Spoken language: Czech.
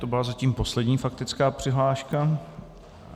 To byla zatím poslední faktická přihláška.